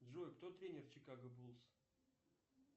джой кто тренер чикаго булс